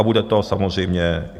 A bude to samozřejmě...